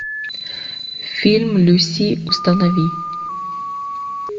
фильм люси установи